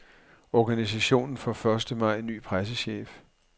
Organisationen får første maj ny pressechef.